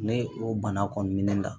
Ne o bana kɔni ne la